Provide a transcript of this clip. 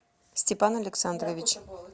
степан александрович